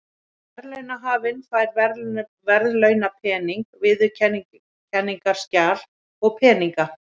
Verðlaunahafinn fær verðlaunapening, viðurkenningarskjal og peninga.